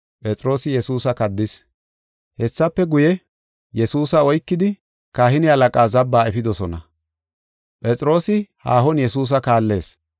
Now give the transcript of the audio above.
Hessafe guye, Yesuusa oykidi kahine halaqaa zabbaa efidosona. Phexroosi haahon Yesuusa kaallees.